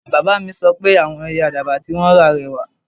Baba mi sọ pe awọn Ẹyẹ Àdàbà ti won ra rẹwà